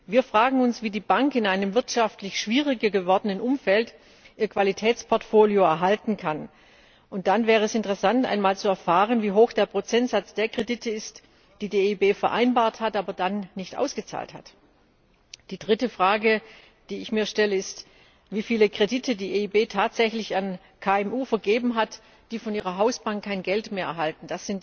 Wir fragen uns, wie die Bank in einem wirtschaftlich schwieriger gewordenen Umfeld ihr Qualitätsportfolio erhalten kann. Und dann wäre es interessant, einmal zu erfahren, wie hoch der Prozentsatz der Kredite ist, die die EIB vereinbart hat, aber dann nicht ausgezahlt hat. Die dritte Frage, die ich mir stelle, ist, wie viele Kredite die EIB tatsächlich an KMU vergeben hat, die von ihrer Hausbank kein Geld mehr erhalten.